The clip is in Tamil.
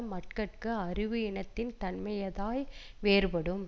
மக்கட்கு அறிவு இனத்தின் தன்மையதாய் வேறுபடும்